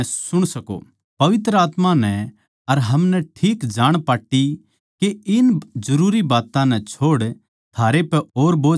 पवित्र आत्मा नै अर हमनै ठीक जाण पाट्टी के इन जरूरी बात्तां नै छोड़ थारै पै और बोझ ना गेरै